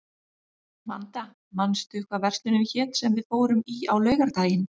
Vanda, manstu hvað verslunin hét sem við fórum í á laugardaginn?